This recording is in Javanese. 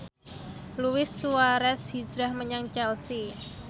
Luis Suarez hijrah menyang Chelsea